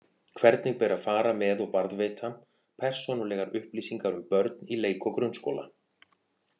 Hvernig ber að fara með og varðveita persónulegar upplýsingar um börn í leik- og grunnskóla?